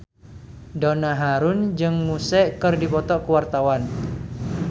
Donna Harun jeung Muse keur dipoto ku wartawan